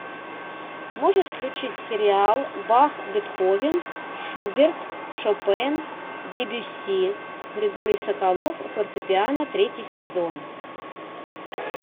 можешь включить сериал бах бетховен шуберт шопен дебюсси григорий соколов фортепиано третий сезон